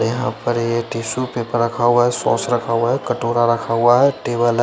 यहाँ पर ये टिशु पेपर रखा हुआ है सोस रखा हुआ है कटोरा रखा हुआ है टेबल है।